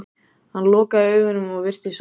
Hann lokaði augunum og virtist sofnaður.